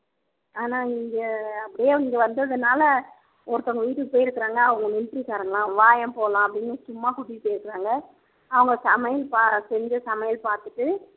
ஆனா இங்க அப்படியே இங்க வந்ததுனால ஒருத்தவங்க வீட்டுக்கு போயிருக்கிறாங்க அவங்க military காரங்கலாம் வாயேன் போலாம் அப்படின்னு சும்மா கூட்டிட்டு போயிருக்கறாங்க அவங்க சமையல் பா செஞ்ச சமையல் பார்த்துட்டு